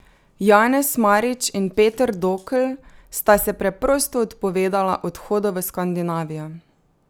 Janez Marič in Peter Dokl sta se preprosto odpovedala odhodu v Skandinavijo.